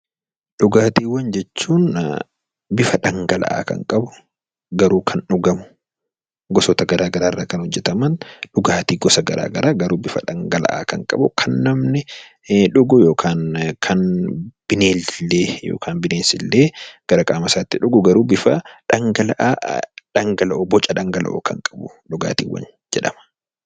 Dhugaatiiwwan jechuun bifa dhangala'aa kan qabu garuu kan dhugamu gosoota garaagaraa irraa kan hojjataman dhugaatii gosa garaagaraa garuu bifa dhangala'aa kan qabu kan namni dhugu yookiin bineensi illee gara qaama isaatti dhugu bifa dhangala'aa kan qabu dhugaatiiwwan jedhama.